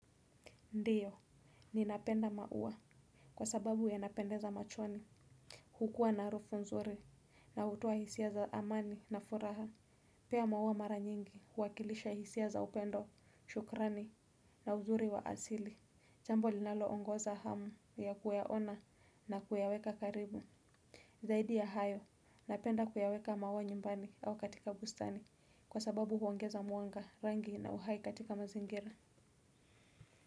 Ndio, ninapenda maua kwa sababu yanapendeza machoni. Hukua na harufu nzuri na hutoa hisia za amani na furaha. Pia maua mara nyingi huwakilisha hisia za upendo, shukrani na uzuri wa asili. Jambo linalo ongoza hamu ya kuyaona na kuyaweka karibu. Zaidi ya hayo, napenda kuyaweka maua nyumbani au katika bustani kwa sababu huongeza mwanga rangi na uhai katika mazingira.